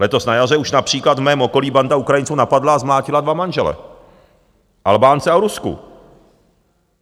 Letos na jaře už například v mém okolí banda Ukrajinců napadla a zmlátila dva manžele, Albánce a Rusku.